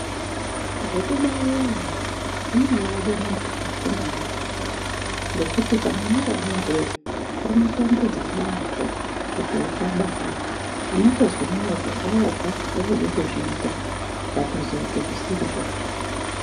Zvokubaira ana zvinobaade munhu wakafunda ngezvazvo, ngekuti kamwana kadodori, kanobaatambudza yaampho kuti ukabaye. Unotozwe mwoyo kurwadza, woode kuzviita, ukatozoite zvisirizvopi.